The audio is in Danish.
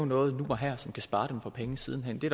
noget nu og her som kan spare dem for penge siden hen det